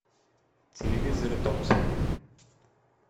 телевизоры томсон